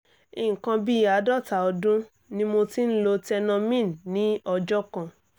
nǹkan bí àádọ́ta ọdún ni mo ti ń lo tenormin ní ọjọ́ kan